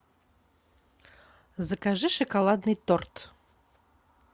закажи шоколадный торт